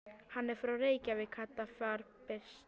Hann er frá Reykjavík, Kata var byrst.